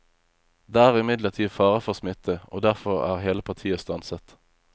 Det er imidlertid fare for smitte, og derfor er hele partiet stanset.